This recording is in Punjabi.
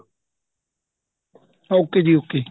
okay ਜੀ okay